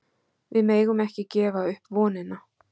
Við megum ekki gefa upp vonina